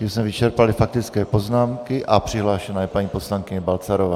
Tím jsme vyčerpali faktické poznámky a přihlášena je paní poslankyně Balcarová.